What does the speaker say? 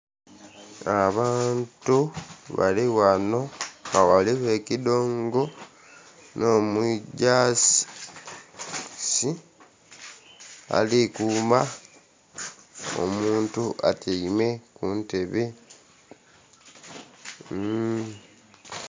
Abantu balighano nga ghaligho ekidongo n'omujaasi ali kuuma. Omuntu atyeime ku ntebe mmm...